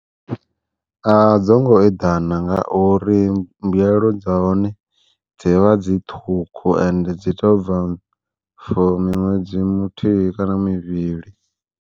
A dzongo eḓana nga uri mbuyelo dza hone dzi vha dzi ṱhukhu, ende dzi tou bva for miṅwedzi muthihi kana mivhili.